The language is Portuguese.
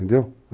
Entendeu?